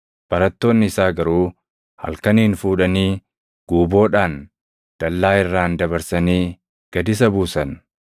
Barattoonni isaa garuu halkaniin fuudhanii guuboodhaan dallaa irraan dabarsanii gad isa buusan.